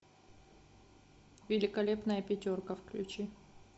великолепная пятерка включи